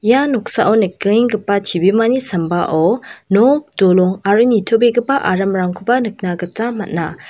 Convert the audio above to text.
ia noksao nikenggipa chibimani sambao nok dolong aro nitobegipa aramrangkoba nikna gita man·a.